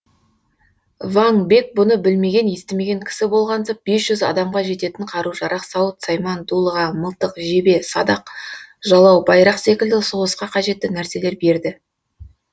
ваң бек бұны білмеген естімеген кісі болғансып бес жүз адамға жететін қару жарақ сауыт сайман дулыға мылтық жебе садақ жалау байрақ секілді соғысқа қажетті нәрселер берді